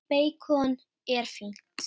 Beikon er fínt!